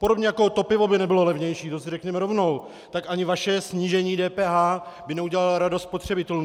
Podobně jako to pivo by nebylo levnější, to si řekněme rovnou, tak ani vaše snížení DPH by neudělalo radost spotřebitelům.